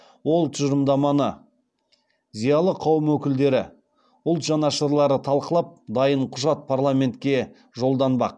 ол тұжырымдаманы зиялы қауым өкілдері ұлт жанашырлары талқылап дайын құжат парламентке жолданбақ